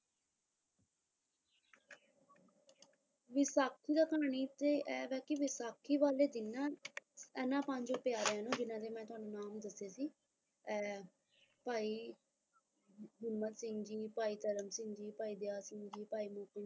ਵਿਸਾਖੀ ਦਾ ਕਹਾਣੀ ਤੇ ਇਹ ਵਾ ਕੀ ਵਿਸਾਖੀ ਵਾਲੇ ਦਿਨ ਨਾ ਇਹਨਾਂ ਪੰਜ ਪਿਆਰਿਆਂ ਨੂੰ ਜਿੰਨਾ ਨੂੰ ਮੈਂ ਤੁਹਾਨੂੰ ਨਾਮ ਦੱਸੇ ਸੀ ਐ ਭਾਈ ਹਿੰਮਤ ਸਿੰਘ ਜੀ, ਭਾਈ ਸਾਹਿਬ ਸਿੰਘ ਜੀ, ਭਾਈ ਦਇਆ ਸਿੰਘ ਜੀ, ਭਾਈ ਮੋਹਕਮ